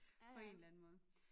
På en eller anden måde